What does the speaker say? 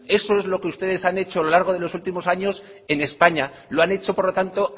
eso es lo que ustedes han hecho a lo largo de los últimos años en españa lo han hecho por lo tanto